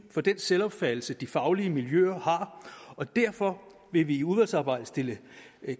for den selvopfattelse de faglige miljøer har og derfor vil vi i udvalgsarbejdet stille